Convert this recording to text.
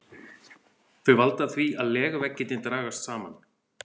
Þau valda því að legveggirnir dragast saman.